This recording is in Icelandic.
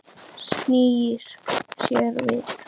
Snýr sér við.